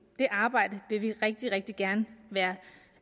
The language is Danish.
det arbejde vil vi rigtig rigtig gerne være